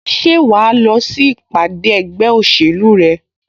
Ṣé wà á lọ sí ìpàdé ẹgbẹ́ òṣèlú rẹ?